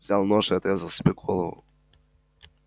взял нож и отрезал себе голову